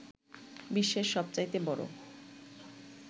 বিশ্বের সবচাইতে বড়